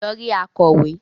lọ rí “akọ̀wé”.